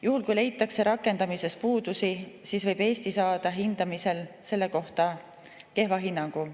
Juhul kui rakendamises leitakse puudusi, võib Eesti saada hindamisel selle kohta kehva hinnangu.